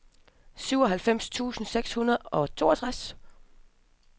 syvoghalvfems tusind seks hundrede og toogtres